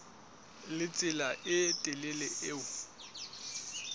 le tsela e telele eo